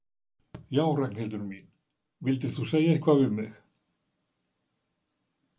Já, Ragnhildur mín. vildir þú segja eitthvað við mig?